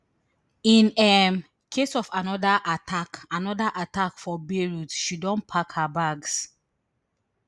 in um case of anoda attack anoda attack for beirut she don pack her bags